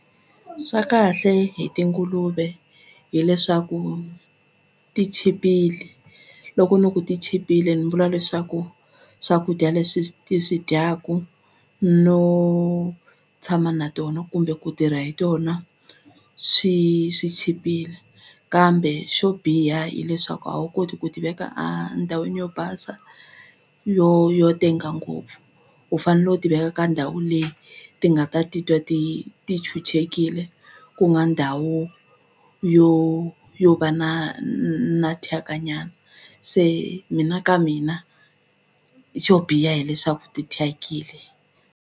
Swa kahle hi tinguluve hileswaku ti chipile loko no ku ti chipile ni vula leswaku swakudya leswi ti swi dyaku no tshama na tona kumbe ku tirha hi tona swi swi chipile kambe xo biha hileswaku a wu koti ku ti veka a ndhawini yo basa yo yo tenga ngopfu u fanele u ti veka ka ndhawu leyi ti nga ta titwa ti ti chuchekile ku nga ndhawu yo yo va na na thyaka se mina ka mina xo biha hileswaku tithyakile.